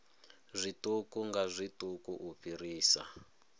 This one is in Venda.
zwiṱuku nga zwiṱuku u fhirisa